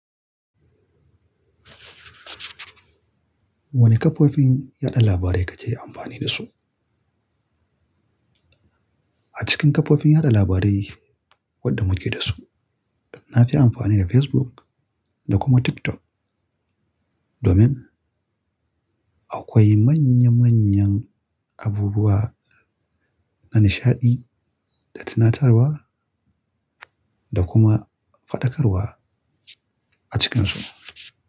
Wane kafofin yada labarai kake amfani da su? A cikin kafofin yada labarai wadda muke da su, na fi amfani da Facebook da kuma TikTok domin akwai manya manyan abubuwa na nishaɗi da tunatarwa da kuma faɗakarwa a cikinsu.